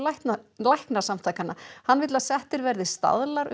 læknasamtakanna hann vill að settir verði staðlar um